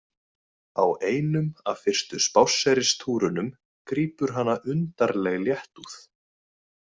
Á einum af fyrstu spásseristúrunum grípur hana undarleg léttúð.